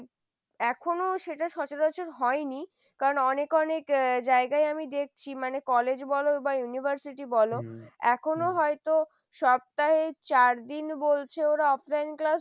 এখনো সেটা সচরাচর হয়নি, অনেক অনেক জায়গায় আমি দেখছি মানে college বলো বা university বলো এখনো হয়তো সপ্তাহে চার দিন বলছে ওরা offline class.